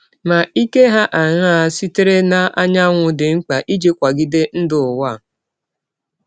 Ma ike hà aṅaa sitere n’anyanwụ dị mkpa iji kwagide ndụ n’ụwa?